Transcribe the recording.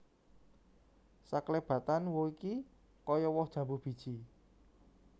Saklebatan who iki kaya woh jambu biji